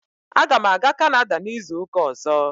Aga m aga Kanada n'izu ụka ọzọ.